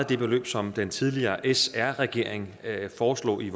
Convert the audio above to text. det beløb som den tidligere sr regering foreslog i